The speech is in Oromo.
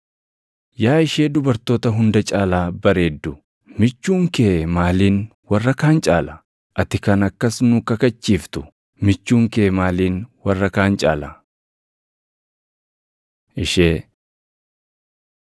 Yaa ishee dubartoota hunda caalaa bareeddu, michuun kee maaliin warra kaan caala? Ati kan akkas nu kakachiiftu, michuun kee maaliin warra kaan caala? Ishee